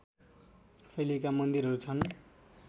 शैलीका मन्दिरहरू छन्